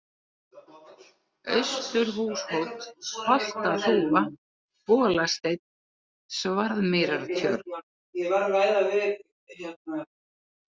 Austurhúshóll, Holtaþúfa, Bolasteinn, Svarðmýrartjörn